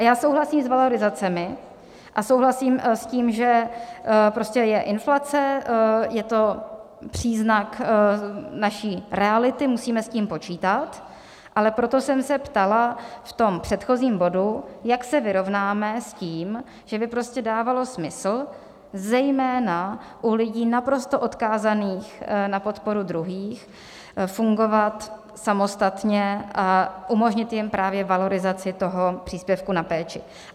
A já souhlasím s valorizacemi a souhlasím s tím, že prostě je inflace, je to příznak naší reality, musíme s tím počítat, ale proto jsem se ptala v tom předchozím bodu, jak se vyrovnáme s tím, že by prostě dávalo smysl zejména u lidí naprosto odkázaných na podporu druhých fungovat samostatně a umožnit jim právě valorizaci toho příspěvku na péči.